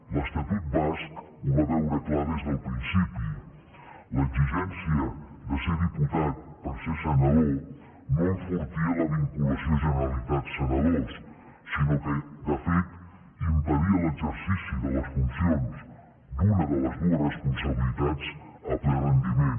l’estatut basc ho va veure clar des del principi l’exigència de ser diputat per ser senador no enfortia la vinculació generalitat senadors sinó que de fet impedia l’exercici de les funcions d’una de les dues responsabilitats a ple rendiment